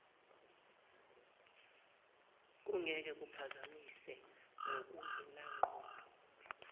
kungeke kuphazamise ngokungenangqondo